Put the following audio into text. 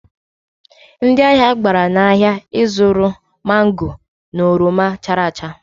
Ndị ahịa gbabara n'ahịa ịzụrụ mango na oroma chara acha.